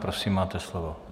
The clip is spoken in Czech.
Prosím, máte slovo.